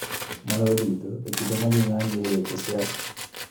Maloyo duto e kinde ma ji ng�anjoe e weche siasa.